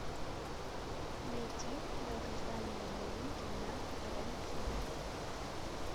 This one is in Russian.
найти долгожданные новинки на рен тв